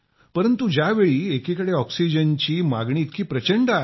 परंतु ज्यावेळी एकीकडे ऑक्सिजनची मागणी इतकी प्रचंड आहे